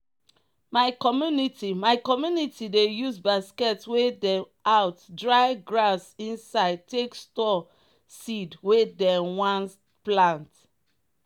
my community my community dey use basket wey dem out dry grass inside take store seed wey dem one plant.